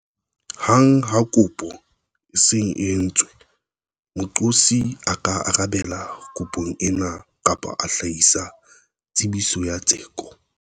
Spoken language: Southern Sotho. Hang ha kopo e se e entswe, moqosi a ka arabela kopong ena kapa a hlahisa tsebiso ya tseko.